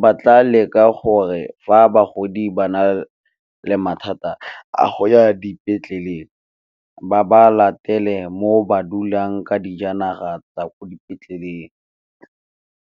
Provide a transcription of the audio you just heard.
ba tla leka gore fa ba bagodi ba na le mathata a go ya dipetleleng ba ba latele mo ba dulang ka dijanaga tsa ko dipetleleng.